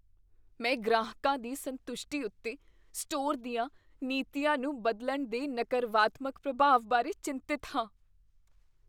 ਮੈਂ ਗ੍ਰਾਹਕਾਂ ਦੀ ਸੰਤੁਸ਼ਟੀ ਉੱਤੇ ਸਟੋਰ ਦੀਆਂ ਨੀਤੀਆਂ ਨੂੰ ਬਦਲਣ ਦੇ ਨਕਰਵਾਤਮਕ ਪ੍ਰਭਾਵ ਬਾਰੇ ਚਿੰਤਤ ਹਾਂ।